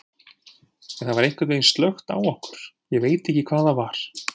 En það var einhvern veginn slökkt á okkur, ég veit ekki hvað það var.